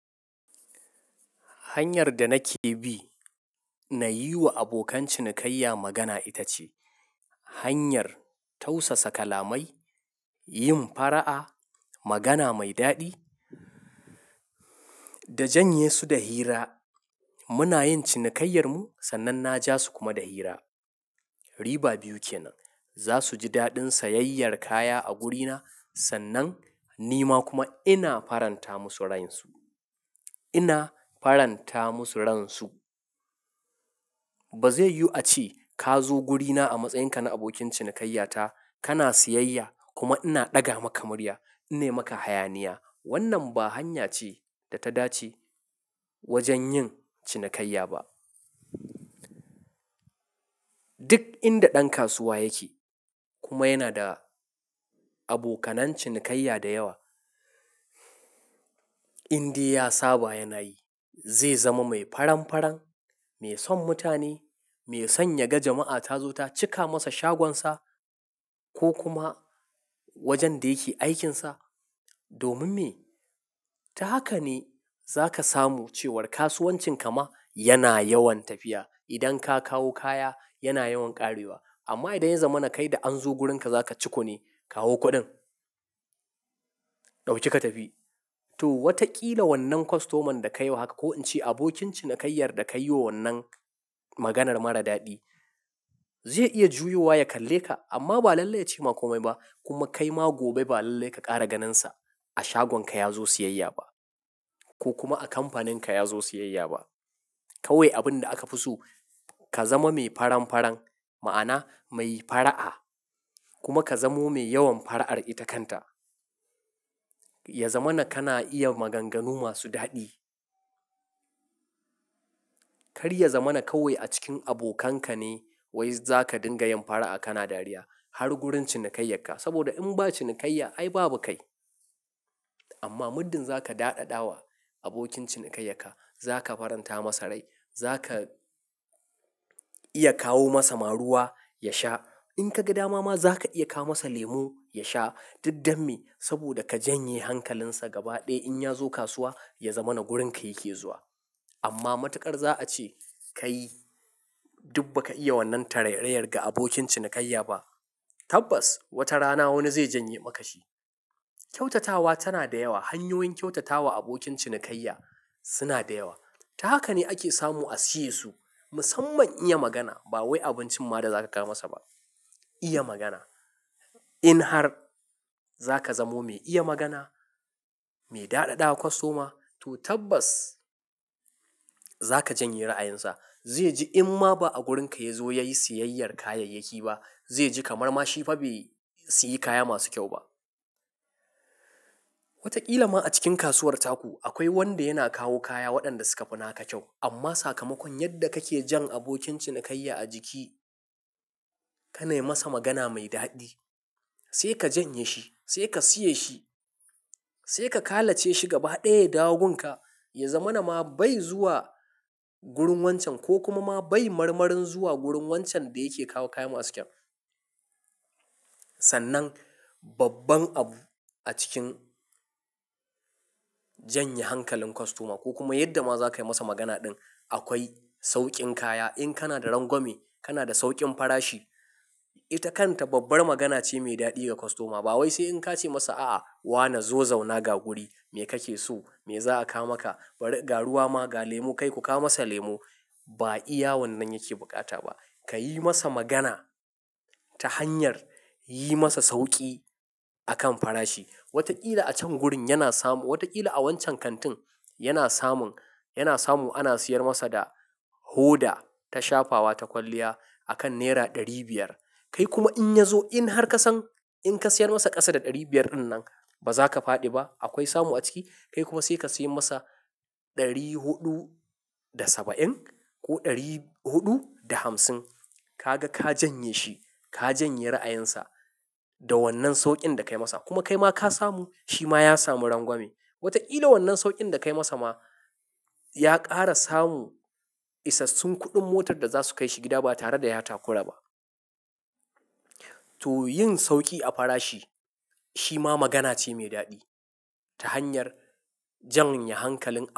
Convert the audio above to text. Hanyar da nake bi na yi wa abokan cinikayya magana ita ce hanyar tausasa kalamai, yin fara'a, magana mai daɗi da janye su da hira. Muna yin cinikayyar mu sannan na ja su kuma da hira. Riba biyu kenan. Za su ji daɗin sayayyar kaya a wurina sannan ni ma kuma ina faranta musu ransu, ina faranta musu ransu. Ba zai yu a ce ka zo wurina a matsayinka na abokin cinikayyata, kana sayayya kuma ina ɗaga maka murya, ina maka hayaniya. Wannan ba hanya ce da ta dace wajen yin cinikayya ba. Duk inda ɗan kasuwa yake kuma yana da abokanan cinikayya da yawa, in dai ya saba yana yi, zai zama mai faran-faran, mai son mutane, mai son yaga jama'a ta zo ta cika masa shagonsa ko kuma wajen da yake aikinsa. Domin me? Ta haka ne za ka samu cewar kasuwancin ka ma yana yawan tafiya. Idan ka kawo kaya yana yawan ƙarewa. Amma idan ya zama na kai da an zo wurinka za ka ciko ne, kawo kuɗin, ɗauki ka tafi. To, watakila wannan kostoman da ka yi wa haka ko in ce abokin cinikayyar da ka yi wa wannan maganar mara daɗi zai iya juyowa ya kalle ka amma ba lallai ya ce maka kome ba kuma kai ma gobe ba lallai ka ƙara ganinsa a shagonka ya zo sayayya ba ko kuma a kamfaninka ya zo sayayya ba. Kawai abin da aka fi so, ka zama mai faran-faran, ma'ana mai fara'a kuma ka zamo mai yawan fara'ar ita kanta. Ya zama na kana iya maganganu masu daɗi. Kar ya zama na kawai a cikin abokanka ne wai za ka dinga yin fara'a kana dariya har wurin cinikayyarka. Saboda in ba cinikayya ai babu kai. Amma muddin za ka daɗaɗawa abokin cinikayyarka, za ka faranta masa rai, za ka iya kawo masa maruwa ya sha. In ka ga dama ma za ka iya kawo masa lemo ya sha, duk damme saboda ka janye hankalinsa gaba ɗaya in ya zo kasuwa ya zama na wurinka yake zuwa. Amma matuƙar za a ce ka yi, duk ba ka iya wannan tarairayar ga abokin cinikayya ba. Tabbas wata rana wani zai janye maka shi. Kyautatawa tana da yawa, hanyoyin kyautatawa abokin cinikayya suna da yawa. Ta haka ne ake samu a siye su. Musamman iya magana. Ba wai abincin ma da za ka kawo masa ba. Iya magana. In har za ka zamo mai iya magana, mai daɗaɗawa kwastoma, to tabbas za ka janye ra'ayinsa. Zai ji in ma ba a wurinka ya zo ya yi sayayyar kayayyaki ba, zai ji kamar ma shi fa bai siyi kaya masu kyau ba. Watakila ma a cikin kasuwar taku akwai wanda yana kawo kaya waɗanda suka fi naka kyau amma sakamakon yadda kake jan abokin cinikayya a jiki, kana yi masa magana mai daɗi, sai ka janye shi, sai ka siye shi, sai ka ƙalace shi gaba ɗaya ya dawo gun ka, ya zama na ma bai zuwa wurin wancan ko kuma ma bai marmarin zuwa wurin wancan da yake kawo kayan masu kyau. Sannan babban abu a cikin janye hankalin kwastoma ko kuma yadda ma za ka yi masa magana ɗin, akwai sauƙin kaya. In kana da rangwame, kana da sauƙin farashi. Ita kanta babbar magana ce mai daɗi ga kwastoma. Ba wai sai in ka ce masa, "A'a, wane zo zauna ga wuri, me kake so, me za a kawo maka? Bare ga ruwa ma, ga lemu kai ku kawo masa lemu." Ba iya wannan yake bukata ba. Ka yi masa magana ta hanyar yi masa sauƙi a kan farashi. Watakila a can wurin yana samu, watakila a wancan kantin yana samun, yana samun ana siyar masa da hoda ta shafawa ta kwalliya akan naira ɗari biyar. Kai kuma in ya zo in har ka san in ka siyar masa ƙasa da ɗari biyar ɗin nan ba za ka fadi ba, akwai samu a ciki, kai kuma sai ka sayar masa ɗari huɗu da saba'in ko ɗari huɗu da hamsin. Ka ga ka janye shi, ka janye ra'ayinsa da wannan sauƙin da ka yi masa kuma kai ma ka samu, shi ma ya samu rangwame. Watakila wannan sauƙin da ka yi masa ma ya ƙara samu isassun kuɗin motar da za su kai shi gida ba tare da ya taku raba. To yin sauƙi a farashi shi ma magana ce mai daɗi ta hanyar janye hankalin.